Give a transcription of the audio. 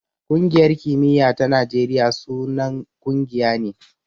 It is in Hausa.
Ƙungiyar kimiya ta Najeriya sunan ƙungiya ne.